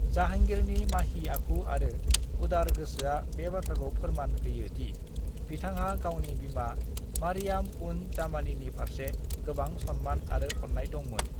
जाहांगीरनि माही आखु आरो उदार गोसोआ बे बाथ्राखौ फोरमान होयो दि बिथांहा गावनि बिमा मरियाम-उज-जामानीनि फारसे गोबां सन्मान आरो अन्नाय दंमोन।